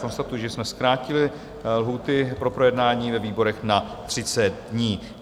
Konstatuji, že jsme zkrátili lhůty pro projednání ve výborech na 30 dní.